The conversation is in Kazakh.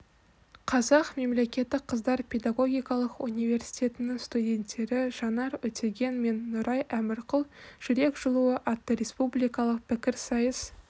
қазақ мемлекеттік қыздар педагогикалық университетінің студенттері жанар өтеген мен нұрай әмірқұл жүрек жылуы атты республикалық пікірсайыс